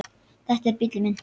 Þetta er bíllinn minn